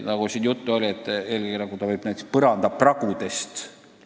Nagu juttu oli, eelkõige võib radoon ruumi tungida põrandapragudest.